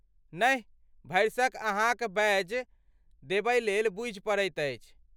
नहि, भरिसक अहाँक बैज देबयलेल बूझि पड़ैत अछि।